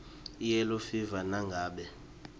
iyellow fever nangabe